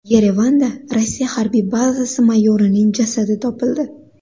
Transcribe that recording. Yerevanda Rossiya harbiy bazasi mayorining jasadi topildi.